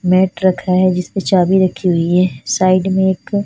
नए ट्रक है जिसमे चाबी राखी हुई है साइड में एक--